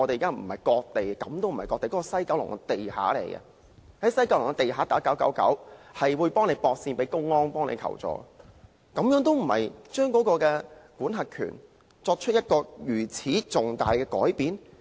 該位置根本就是西九龍地底，如果在該處致電999後，竟然會被接線到公安求助，這還不是把管轄權作出了重大改變嗎？